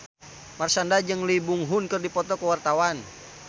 Marshanda jeung Lee Byung Hun keur dipoto ku wartawan